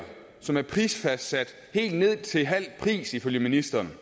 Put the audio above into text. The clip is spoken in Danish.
som er prisfastsat helt ned til halv pris ifølge ministeren